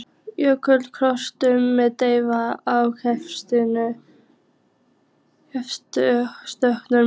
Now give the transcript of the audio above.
Jökulrákuð klöpp með dreif af grettistökum.